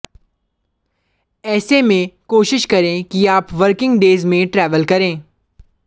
ऐसे में कोशिश करें कि आप वर्किंग डेज में ट्रेवल करें